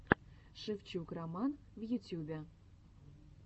шевчук роман в ютюбе